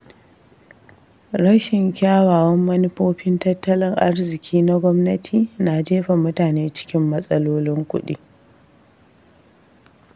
Rashin kyawawan manufofin tattalin arziƙi na gwamnati na jefa mutane cikin matsalolin kuɗi.